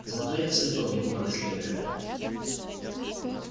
зато я всыпал ему как следует